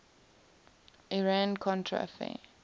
iran contra affair